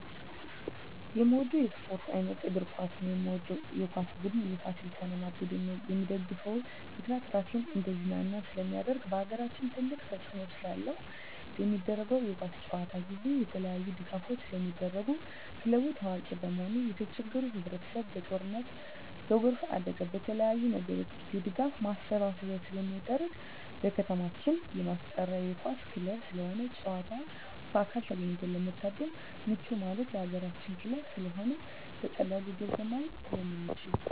የምወደው የስፓርት አይነት እግር ኳስ ነው። የምደግፈው የኳስ ቡድን የፋሲል ከነማ ቡድን ነው። የምደግፍበት ምክንያት ራሴን እንዳዝናና ስለማደርግ በአገራችን ትልቅ ተፅዕኖ ስላለው። በሚደረገው የኳስ ጨዋታ ጊዜ የተለያዪ ድጋፎች ስለሚደረጉ ክለቡ ታዋቂ በመሆኑ የተቸገሩ ህብረቸሰብ በጦርነት በጎርፍ አደጋ በተለያዪ ነገሮች የድጋፍ ማሰባሰቢያ ስለሚደረግ። በከተማችን የማስጠራ የኳስ ክለብ ስለሆነ ጨዋታውን በአካል ተገኝቶ ለመታደም ምቹ ማለት የአገራችን ክለብ ስለሆነ በቀላሉ ገብተን ማየት ስለምንችል።